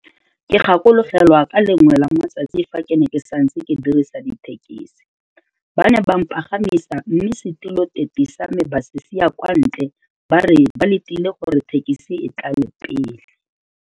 Ke gakologelwa ka le lengwe la matsatsi fa ke ne ke santse ke dirisa dithekisi, ba ne ba mpagamisa mme setiloteti sa me ba se siya kwa ntle ba re ba letile gore thekisi e tlale pele.